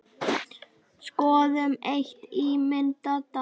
Skoðum eitt ímyndað dæmi.